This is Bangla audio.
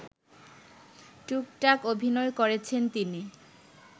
টুকটাক অভিনয় করেছেন তিনি